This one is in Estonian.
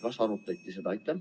Kas seda arutati?